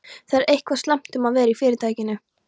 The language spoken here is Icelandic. Það er eitthvað slæmt um að vera í Fyrirtækinu.